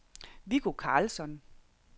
Viggo Karlsson